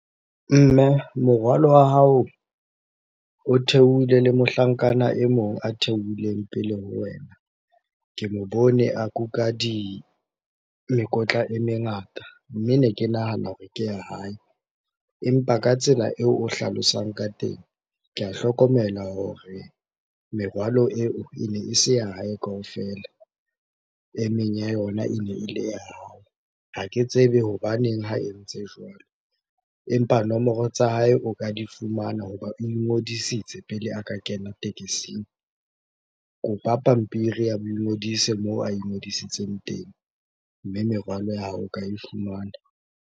Mme, morwalo wa hao o theohile le mohlankana e mong a theohileng pele ho wena. Ke mo bone a kuka di, mekotla e mengata mme ne ke nahana hore ke ya hae. Empa ka tsela eo o hlalosang ka teng, ke a hlokomela hore merwalo eo ene e se ya hae kaofela. E meng ya yona ene e le ya hao. Ha ke tsebe hobaneng ha e ntse jwalo? Empa nomoro tsa hae o ka di fumana hoba o ingodisitse pele a ka kena tekesing. Kopa pampiri ya boingodise moo a ingodisitseng teng, mme merwalo ya hao o ka e fumana